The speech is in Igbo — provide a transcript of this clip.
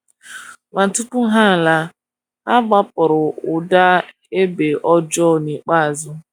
Ma tupu ha laa, ha gbapụrụ ụda egbe ọjọọ n'ikpeazụ.